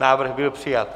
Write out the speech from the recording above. Návrh byl přijat.